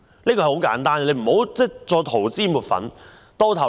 這是很簡單的事，不要再塗脂抹粉。